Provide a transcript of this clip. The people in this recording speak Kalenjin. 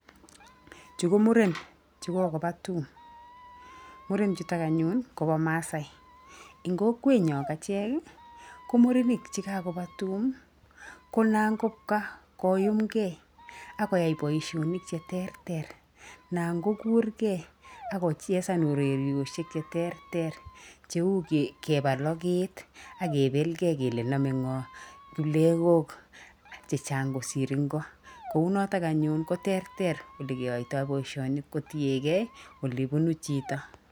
Chu ko muren chukokoba tum. Muren chutok anyun kobo maasai. Eng kokwenyo achek, ko murenik che kakoba tum ko namkobka koyuumgei, ak koyai boisionik cheterter anan kokuurgei ak kochesan urerioshek cheterter cheu keba logeet ak kebelge kele nome ng'o kipleng'ok chechang kosir ingo. Kounotok anyun koterter ole keyaitoi boisioni kotiegei ole bunu chito.